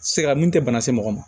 Sɛgɛnna mun tɛ bana se mɔgɔ ma